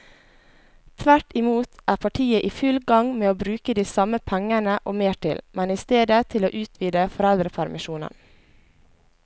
Tvert imot er partiet i full gang med å bruke de samme pengene og mer til, men i stedet til å utvide foreldrepermisjonen.